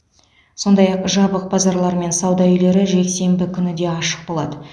сондай ақ жабық базарлар мен сауда үйлері жексенбі күні де ашық болады